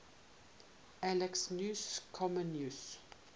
alexius comnenus